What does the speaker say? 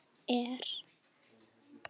En spurt er